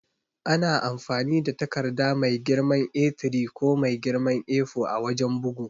Ana amfani da takarda mai girman A3 ko mai girman A4 a wajan bugu.